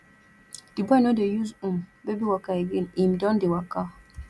di boy no dey use um baby walker again him don dey waka